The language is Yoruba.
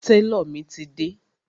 Tálọ̀ mi ti dé.